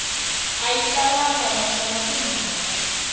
a yi talangi naswona timhaka